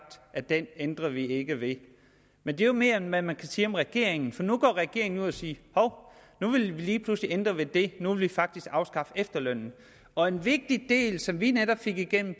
at den ændrer vi ikke ved men det er jo mere end man kan sige om regeringen for nu går regeringen ud og siger hov nu vil vi lige pludselig ændre ved det nu vil vi faktisk afskaffe efterlønnen og en vigtig del som vi netop fik igennem